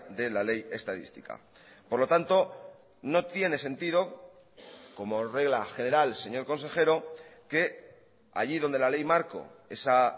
de la ley estadística por lo tanto no tiene sentido como regla general señor consejero que allí donde la ley marco esa